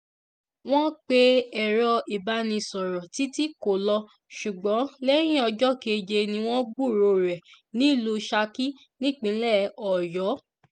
wọ́n pe ẹ̀rọ ìbánisọ̀rọ̀ títí kò lọ ṣùgbọ́n lẹ́yìn ọjọ́ keje ni wọ́n gbúròó rẹ̀ nílùú saki nípínlẹ̀ ọ̀yọ́